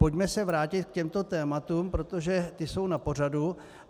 Pojďme se vrátit k těmto tématům, protože ta jsou na pořadu.